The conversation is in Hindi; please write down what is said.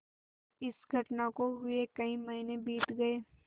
इस घटना को हुए कई महीने बीत गये